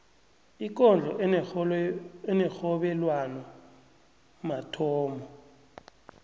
ikondlo enerhobelwano mathomo